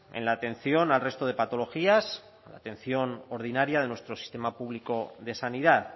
en la atención al resto de patologías a la atención ordinaria de nuestro sistema público de sanidad